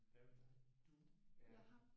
Hvad med dig? Du er?